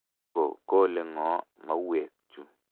Ko kole ng'o mauwek chu?